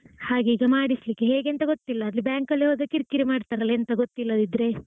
ಹಾಗೆ ಈಗ ಮಾಡಿಸಲಿಕ್ಕೆ ಹೇಗೆ ಅಂತ ಗೊತ್ತಿಲ್ಲ ಆದ್ರೆ bank ಅಲ್ಲಿ ಹೋದ್ರೆ ಕಿರಿಕಿರಿ ಮಾಡ್ತಾರೆ ಅಲಾ ಎಂಥ ಗೊತ್ತಿಲ್ಲದಿದ್ರೆ.